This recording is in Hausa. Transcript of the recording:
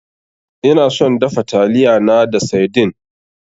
Ina son dafa taliyana da saidin.